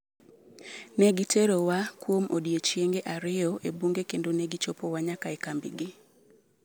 Ne giterowa kuom odiechienge ariyo e bunge kendo ne gichopowa nyaka e kambigi.